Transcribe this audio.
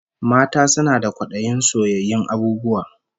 Mata suna da kwadayin soyayyun abububwa